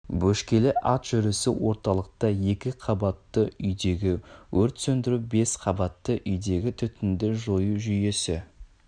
бөшкелі ат жүрісі орталықта екі қабатты үйдегі өрт себебі бес қабатты үйдегі түтінді жою жүйесі